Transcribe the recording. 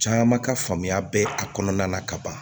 Caman ka faamuya bɛ a kɔnɔna na ka ban